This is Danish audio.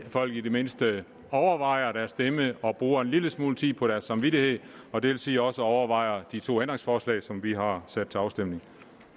folk i det mindste overvejer deres stemme og bruger en lille smule tid på deres samvittighed og det vil sige også overvejer de to ændringsforslag som vi har sat til afstemning